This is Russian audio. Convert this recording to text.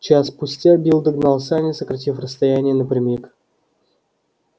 час спустя билл догнал сани сократив расстояние напрямик